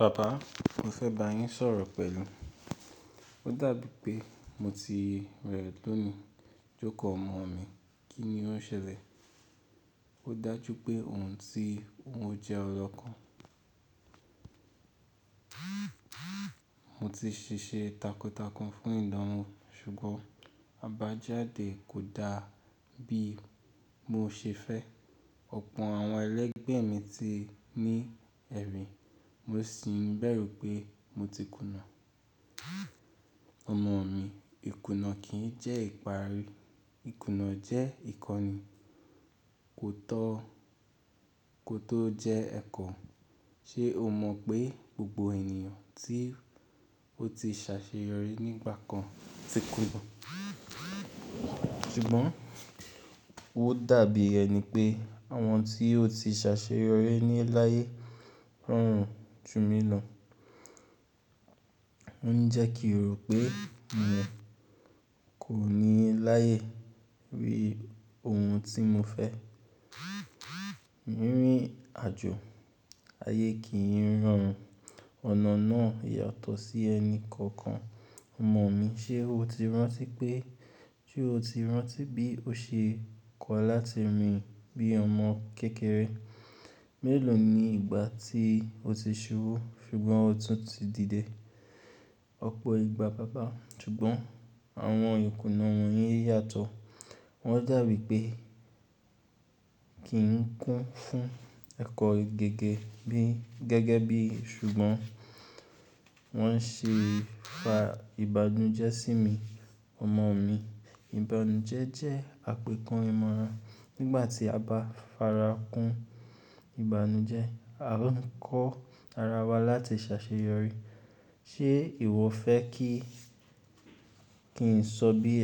"Baba, mo fẹ́ bá yín sọ̀rọ̀ pẹ̀lú. Ó dàbí pé mo ti rẹ̀ lónìí." "Joko ọmọ mi, kí ni ó ṣẹlẹ̀?" "Ó dájú pé òun ti, òun jẹ́ ọlọ́ kan. Mo ti ṣiṣe takuntakun fún ìdáná, ṣùgbọ́n àbájáde kò da bí mo ṣe fẹ́. Ọ̀pọ̀ àwọn ẹlẹgbẹ́ mi ti ní ẹ̀rín, mo sì ń bẹ̀rù pé mo ti kùnà." "Ọmọ mi, ìkùnà kì í jẹ́ ìparí. Ìkùnà jẹ́ ìkọ́ni, kò tó jẹ́ ẹ̀kọ. Ṣé o mọ pé gbogbo ènìyàn tí ó ti ṣàṣeyọrí nígbà kan ti kùnà?" "Ṣùgbọ́n ó dàbí ẹni pé àwọn tí ó ti ṣàṣeyọrí ní láyé rọrùn jú mi lọ. Ó ń jẹ́ kí rò pé mi kò ní láyé rí ohun tí mo fẹ́." "Rírìn àjò ayé kì í rọrùn. Ọ̀nà náà yàtọ̀ sí ẹni kọ̀ọ̀kan. Ọmọ mi, ṣe o ti rántí bí o ṣe kọ́ láti rìn bí ọmọ kékeré? Mélòó ni ìgbà tí o ti ṣúbù, ṣùgbọ́n o tún ti dìde?" "Ọ̀pọ̀ ìgbà baba, ṣùgbọ́n àwọn ìkùnà wọ̀nyí yàtọ̀. Wọ́n dàbí pé kì í kún fún ẹ̀kọ́ gẹ́gẹ́ bí, ṣùgbọ́n wọ́n ṣe ń fa ìbànújẹ́ sí mi." "Ọmọ mi, ìbànújẹ́ jẹ́ àpèkán ìmọ̀ràn. Nígbà tí a bá fara kún ìbànújẹ́, a ń kọ́ ara wa láti ṣàṣeyọrí. Ṣé ìwọ fẹ́ ki kí n sọ bí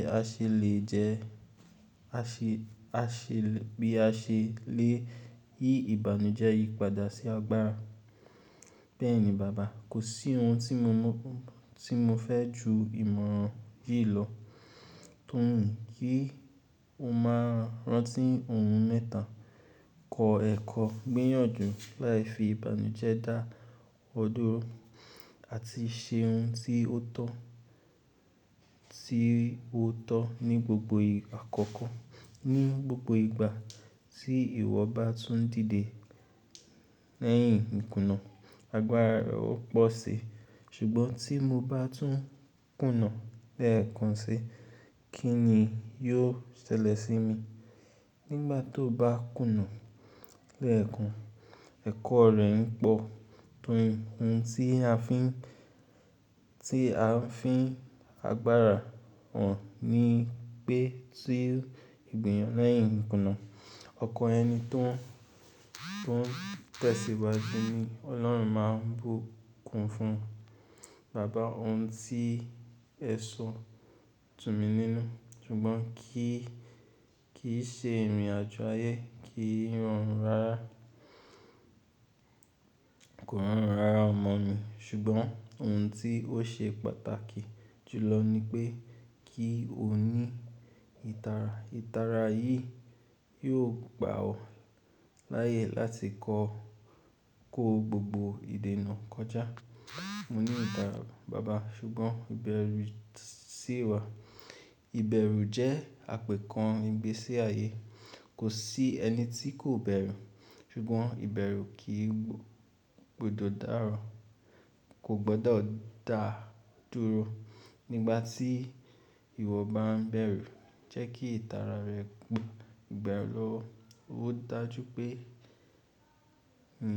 a ṣe lè yí ìbànújẹ́ yí padà sí agbára?" "Bẹ́ẹ̀ni baba, kò sí ohun tí mo fẹ́ ju ìmọ̀ràn yìí lọ." "Tó yìn, kí o máa rántí ohun mẹ́ta: kọ ẹkọ, gbìyànjú láì fi ìbànújẹ́ dá ọ dúró àti ṣe ohun tí ó tọ́ ní gbogbo ìgbà. Kí ìwọ bá tún dìde lẹ́yìn ìkùnà, agbára rẹ ó pọ̀ sí." "Ṣùgbọ́n tí mo bá tún kùnà lẹ́ẹ̀kan si, kí ni yóò ṣẹlẹ̀ sí mi?" "Nígbà tí o bá kùnà lẹ́ẹ̀kan, ẹ̀kọ́ rẹ ń pọ̀. Tó yìn, ohun tí a fi ń agbára ọ̀un ni pé tí gbìyàn lẹ́yìn ìkùnà, ọkan ẹni tó ń tẹ̀síwájú ni Ọlọ́run máa ń bù kún fún." "Baba, ohun tí ẹ sọ dùn mi nínú, ṣùgbọ́n kí n ṣe rìn àjò ayé kí í rọrùn rara?" "Kò rọrùn rara ọmọ mi, ṣùgbọ́n ohun tí ó ṣe pàtàkì jù lọ ni pé kí o ní ìtara. Ìtara yìí yóò gbà ọ láyè láti kó gbogbo ìdènà kọjá." "Mo ní ìtara baba, ṣùgbọ́n ìbẹ̀rù sì wà." "Ìbẹ̀rù jẹ́ àpèkán ìgbésí ayé. Kò sí ẹni tí kò bẹ̀rù, ṣùgbọ́n ìbẹ̀rù kì í gbọdọ̀ dá dúró. Nígbà tí ìwọ bá ń bẹ̀rù, jẹ́ kí ìtara rẹ gba ọ lọ." "Ó dájú pé ń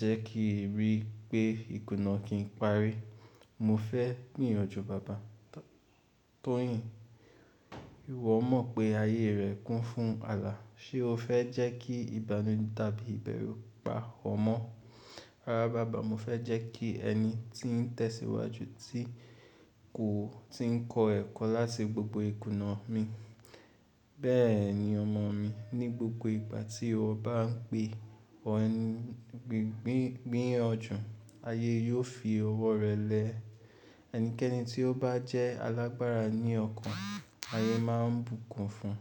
jẹ́ kí rí pé ìkùnà kìí parí. Mo fẹ́ gbìyànjú baba." "Tó yìn, ìwọ mọ̀ pé ayé rẹ kún fún àlà. Ṣé o fẹ́ jẹ́ kí ìbànújẹ́ tàbí ìbẹ̀rù pa ọ mọ́?" "Rárá baba, mo fẹ́ jẹ́ kí ẹni tí ń tẹ̀síwájú tí ń kọ́ ẹ̀kọ́ láti gbogbo ìkùnà mi." "Bẹ́ẹ̀ ni ọmọ mi. Ní gbogbo ìgbà tí o bá ń gbìyànjú, ayé yóò fi ọwọ́ rẹ lẹ. Ẹnikẹ́ni tí ó bá jẹ́ alágbára ní ọkàn, ayé máa ń bù kún fún."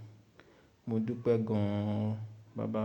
"Mo dúpẹ́ gan-an baba."